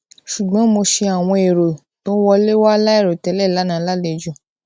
ṣùgbọn mo ṣe àwọn èrò tó wọlé wá láìrò tẹlẹ lánàá lálejò